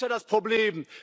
Das ist ja das Problem!